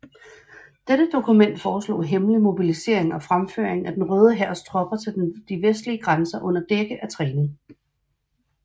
Dette dokument foreslog hemmelig mobilisering og fremføring af den Røde Hærs tropper til de vestlige grænser under dække af træning